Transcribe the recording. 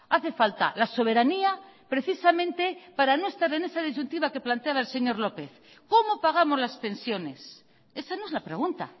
hace falta la soberanía precisamente para no estar en esa disyuntiva que planteaba el señor lópez cómo pagamos las pensiones esa no es la pregunta